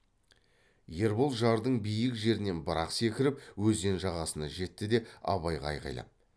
ербол жардың биік жерінен бір ақ секіріп өзен жағасына жетті де абайға айғайлап